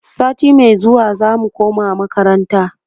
sati Mai zuwa zamu koma makaranta